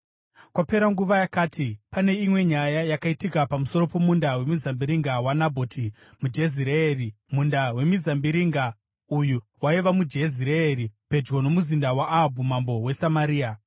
Kwapera nguva yakati, pane imwe nyaya yakaitika pamusoro pomunda wemizambiringa waNabhoti muJezireeri. Munda wemizambiringa uyu waiva muJezireeri, pedyo nomuzinda waAhabhu mambo weSamaria.